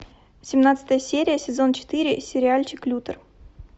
семнадцатая серия сезон четыре сериальчик лютер